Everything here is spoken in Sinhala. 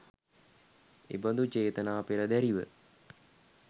එබඳු චේතනා පෙරදැරිව